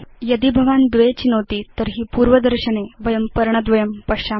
यदि भवान् २ चिनोति तर्हि पूर्वदर्शने वयं पर्णद्वयं पश्याम